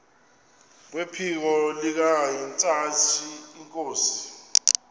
kwephiko likahintsathi inkosi